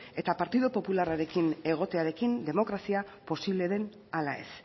eta partido popularrarekin egotearekin demokrazia posible den ala ez